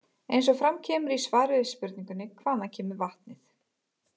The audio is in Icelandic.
Eins og fram kemur í svari við spurningunni Hvaðan kemur vatnið?